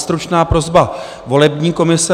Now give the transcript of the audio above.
Stručná prosba volební komise.